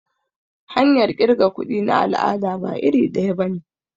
Hanyar kirga kuɗi na al'ada ba iri daya bane.